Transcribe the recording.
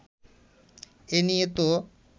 এ নিয়ে তো